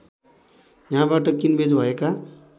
यहाँबाट किनबेच भएका